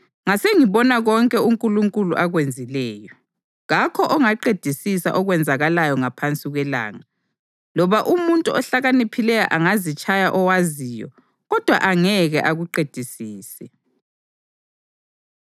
ngasengibona konke uNkulunkulu akwenzileyo. Kakho ongaqedisisa okwenzakalayo ngaphansi kwelanga. Loba umuntu ohlakaniphileyo angazitshaya owaziyo, kodwa angeke akuqedisise.